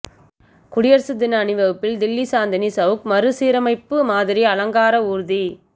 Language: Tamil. குடியரசு தின அணிவகுப்பில் தில்லி சாந்தினி செளக் மறுசீரமைப்பு மாதிரி அலங்கார ஊா்தி